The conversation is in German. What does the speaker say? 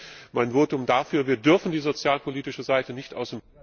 Deshalb mein Votum dafür Wir dürfen die sozialpolitische Seite nicht aus dem